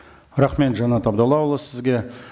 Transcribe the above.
рахмет жанат абдоллаұлы сізге